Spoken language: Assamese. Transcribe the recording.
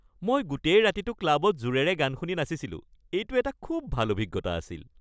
মই গোটেই ৰাতিটো ক্লাবত জোৰেৰে গান শুনি নাচিছিলোঁ। এইটো এটা খুব ভাল অভিজ্ঞতা আছিল।